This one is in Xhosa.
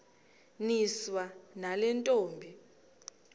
niswa nale ntombi